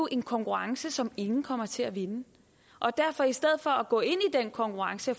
en konkurrence som ingen kommer til at vinde i stedet for at gå ind i den konkurrence